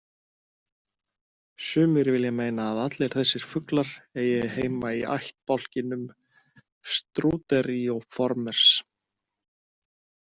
Sumir vilja meina að allir þessir fuglar eigi heima í ættbálkinum Struterioformes.